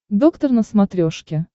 доктор на смотрешке